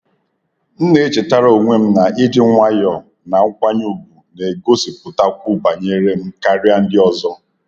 M na-echetara onwe m na ịdị nwayọọ na nkwanye ùgwù na-egosipụtakwu banyere m karịa ndị ọzọ.